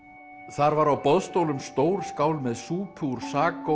þar var á boðstólum stór skál með súpu úr